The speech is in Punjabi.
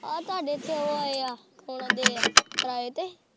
ਤੁਹਾਡੇ ਇੱਥੇ ਉਹ ਆਏ ਆ ਇੰਨਾਂ ਦੇ ਕਿਰਾਏ ਤੇ।